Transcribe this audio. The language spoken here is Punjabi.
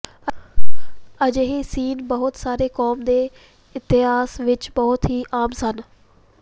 ਅਜਿਹੇ ਸੀਨ ਬਹੁਤ ਸਾਰੇ ਕੌਮ ਦੇ ਮਿਥਿਹਾਸ ਵਿੱਚ ਬਹੁਤ ਹੀ ਆਮ ਸਨ